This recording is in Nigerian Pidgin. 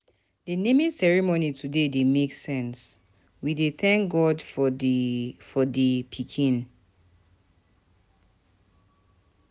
The naming ceremony today dey make sense, we dey thank God for the for the pikin.